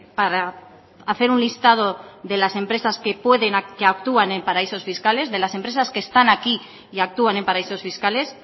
para hacer un listado de las empresas que pueden actúan en paraísos fiscales de las empresas que están aquí y actúan en paraísos fiscales